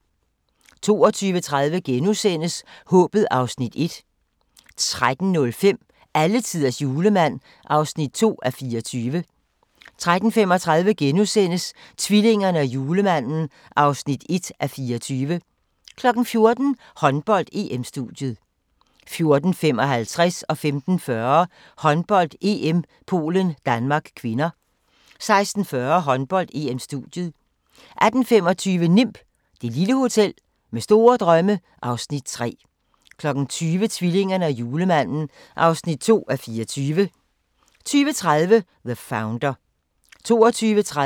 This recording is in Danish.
12:20: Håbet (Afs. 1)* 13:05: Alletiders Julemand (2:24) 13:35: Tvillingerne og Julemanden (1:24)* 14:00: Håndbold: EM-studiet 14:55: Håndbold: EM - Polen-Danmark (k) 15:40: Håndbold: EM - Polen-Danmark (k) 16:40: Håndbold: EM-studiet 18:25: NIMB - det lille hotel med store drømme (Afs. 3) 20:00: Tvillingerne og Julemanden (2:24) 20:30: The Founder